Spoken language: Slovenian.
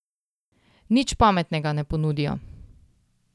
Nič pametnega ne ponudijo.